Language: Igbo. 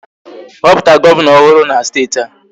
Họpụta Gọvanọ ọhụrụ na steeti a